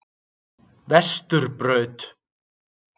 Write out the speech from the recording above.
Vesturbraut